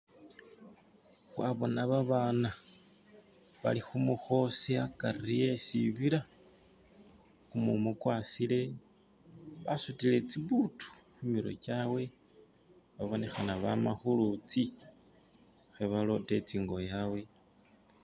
wabona babana bali humuhosi akari wesibila kumumu kwasile basutile tsibutu humirwe kyawe babonehana bama hulutsi hebalota itsingo yawe